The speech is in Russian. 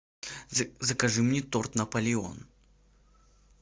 закажи мне торт наполеон